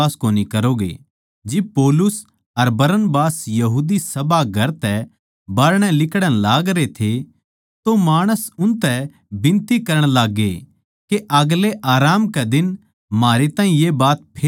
जिब पौलुस अर बरनबास यहूदी सभाघर तै बाहरणै लिकड़ण लागरे थे तो माणस उनतै बिनती करण लाग्गे के आगलै आराम कै दिन म्हारै ताहीं ये बात फेर सुणाई जावै